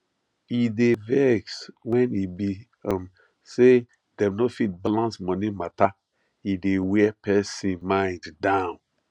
e dey vex wen e be um say dem no fit balance money mata e dey wear person mind down